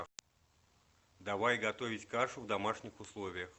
давай готовить кашу в домашних условиях